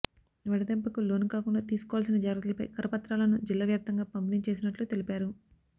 వడదెబ్బకులోను కాకుండా తీసుకోవల్సిన జాగ్రత్తలపై కరపత్రాలను జిల్లా వ్యాప్తంగా పంపిణీ చేసినట్లు తెలిపారు